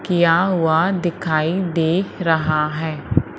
किया हुआ दिखाई दे रहा है।